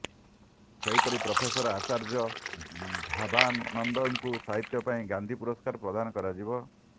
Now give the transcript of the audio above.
ସେହିପରି ପ୍ରଫେସର ଆଚାର୍ଯ୍ୟ ଭାବାନନ୍ଦଙ୍କୁ ସାହିତ୍ୟ ପାଇଁ ଗାନ୍ଧୀ ପୁରସ୍କାର ପ୍ରଦାନ କରାଯିବ